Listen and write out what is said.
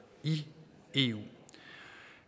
i eu